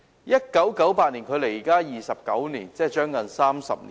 1988年距今29年，即接近30年。